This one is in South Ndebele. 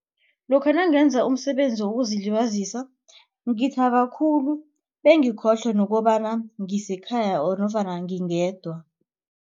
Lokha nangenza umsebenzi wokuzilibazisa ngithaba khulu bengikhohlwe nokobana ngisekhaya nofana ngingedwa.